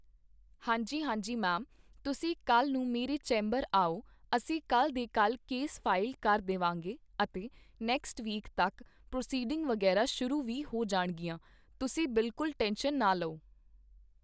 ਹਾਂਜੀ ਹਾਂਜੀ ਮੈਮ ਤੁਸੀਂ ਕੱਲ੍ਹ ਨੂੰ ਮੇਰੇ ਚੈਂਬਰ ਆਓ ਅਸੀਂ ਕੱਲ੍ਹ ਦੇ ਕੱਲ੍ਹ ਕੇਸ ਫਾਈਲ ਕਰ ਦੇ ਵਾਂਗੇ ਅਤੇ ਨੈਕਸਟ ਵੀਕ ਤੱਕ ਪ੍ਰਸੀਡਿੰਗ ਵਗ਼ੈਰਾ ਸ਼ੁਰੂ ਵੀ ਹੋ ਜਾਣਗੀਆਂ ਤੁਸੀਂ ਬਿਲਕੁਲ ਟੈਨਸ਼ਨ ਨਾ ਲਓ